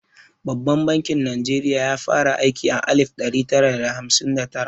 Babban bankin Najeriya ya fara aiki a alif ɗari tara da hamsin da tara.